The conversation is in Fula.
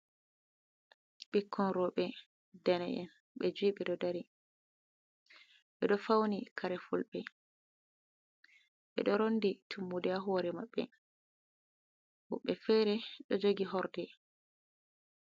Ɓikkon roɓe dane'en be ju'e ɓe ɗo dari, ɓe ɗo fauni kare fulɓe, ɓe ɗo rondi tummude ha hore maɓɓe. woɓɓe fere ɗo jogi horde.